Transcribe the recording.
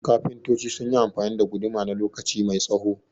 kafintoci sunyi amfani da guduma na lokaci mai tsaho